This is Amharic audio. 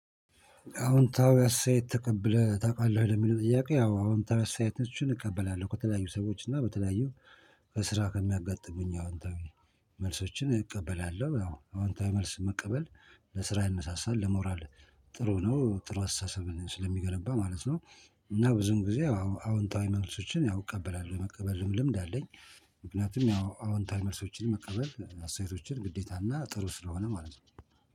አዎ አሁን ታው አስተያየት ተቀብለህ ታውቃለህ የሚለው ጥያቄ ያው አዎ አሁን ታው አስተያየት ነች እቀበላለሁ ከተለያዩ ሰዎች እና በተለያዩ ከስራ ከሚያጋጥሙኝ አዎንታዊ መልሶችን እቀበላለሁ አዎንታዊ መልስ መቀበል ለስራ ያነሳሳል ለሞራል ጥሩ ነው ጥሩ አስተሳሰብ ስለሚገነባ ማለት ነው። እና ብዙን ጊዜ አዎ አዎንታዊ መልሶችን ያው እቀበላለሁ ለመቀበል ልምድ አለኝ። ምክንያቱም ያው አዎንታዊ መልሶችን መቀበል አስተያየቶችን ግዴታና ጥሩ ስለሆነ ማለት ነው